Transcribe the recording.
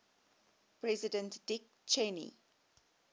president dick cheney